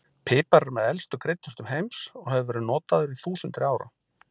Pipar er með elstu kryddjurtum heims og hefur verið notaður í þúsundir ára.